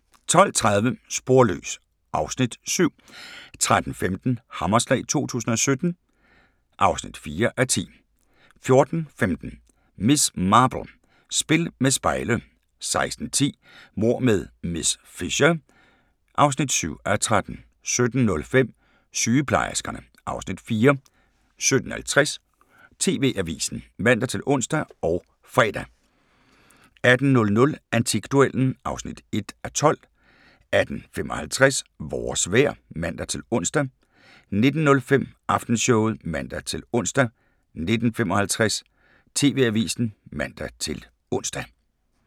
12:30: Sporløs (Afs. 7) 13:15: Hammerslag 2017 (4:10) 14:15: Miss Marple: Spil med spejle 16:10: Mord med miss Fisher (7:13) 17:05: Sygeplejerskerne (Afs. 4) 17:50: TV-avisen (man-ons og fre) 18:00: Antikduellen (1:12) 18:55: Vores vejr (man-ons) 19:05: Aftenshowet (man-ons) 19:55: TV-avisen (man-ons)